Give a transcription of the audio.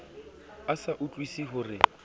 a sa utlwusise ho re